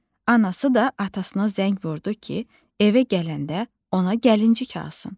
Anası da atasına zəng vurdu ki, evə gələndə ona gəlincik alsın.